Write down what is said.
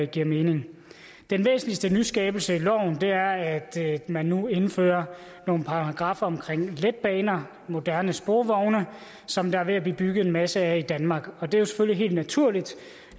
giver mening den væsentligste nyskabelse i loven er at man nu indfører nogle paragraffer om letbaner moderne sporvogne som der er ved at blive bygget en masse af i danmark og det er selvfølgelig helt naturligt